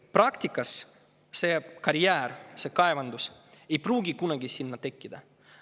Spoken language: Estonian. Praktikas see karjäär, see kaevandus ei pruugi kunagi sinna tekkida.